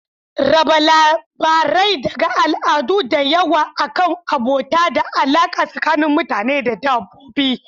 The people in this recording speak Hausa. Raba labarai daga al'adu da yawa akan abota da alaƙa tsakanin mutane da dabbobi.